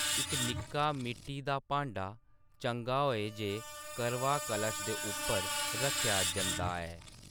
इक निक्का मिट्टी दा भांडा, चंगा होऐ जे करवा, कलश दे उप्पर रक्खेआ जंदा ऐ।